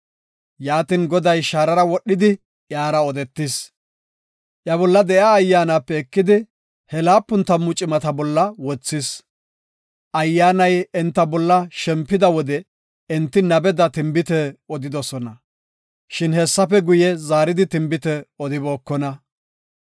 Yaatin, Goday shaarara wodhidi iyara odetis; iya bolla de7iya Ayyaanape ekidi, he laapun tammu cimata bolla wothis. Ayyaanay enta bolla shempida wode enti nabeda tinbite odidosona. Shin hessafe guye, zaaridi tinbite odibookona.